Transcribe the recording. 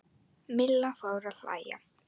Milla fór að hlæja.